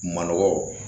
Manɔgɔ